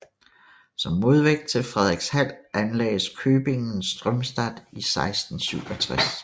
Som modvægt til Fredrikshald anlagdes köpingen Strömstad i 1667